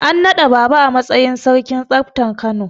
An naɗa Baaba a matsayin sarkin tsaftar Kano.